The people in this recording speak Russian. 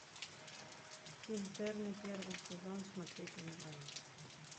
интерны первый сезон смотреть онлайн